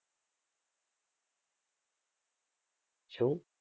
શું?